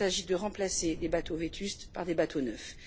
Il s'agit de remplacer des bateaux vétustes par des bateaux neufs.